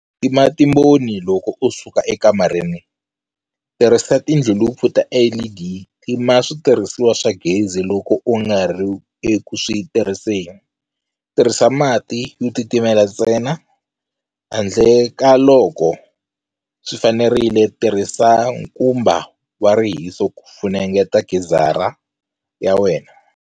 Tima timboni loko u suka ekamareni Tirhisa tindhlulupu ta LED Tima switirhisiwa swa gezi loko u nga ri eku swi tirhiseni Tirhisa mati yo titimela ntsena, handle ka loko swi fanerile Tirhisa nkumba wa rihiso ku funengeta gizara ya wena.